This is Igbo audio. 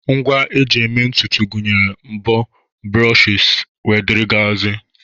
Ngwa eji eme ntutu gụnyere mbo, brushes wdg